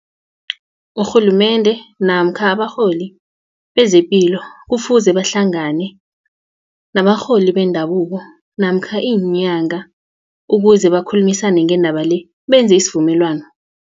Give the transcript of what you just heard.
Urhulumende namkha abarholi bezepilo kufuze bahlangane nabarholi bendabuko namkha iinyanga ukuze bakhulumisane ngendaba le benze isivumelwano.